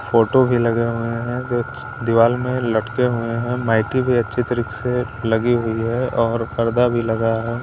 Photo भी लगे हुए हैं जो दीवार में लटके हुए हैं माइटी भी अच्छी तरीके से लगी हुई है और पर्दा भी लगा है।